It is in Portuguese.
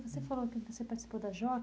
Você falou que você participou da JOC.